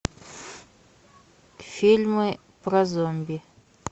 фильмы про зомби